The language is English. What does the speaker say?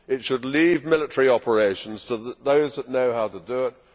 It should leave military operations to those that know how to do it.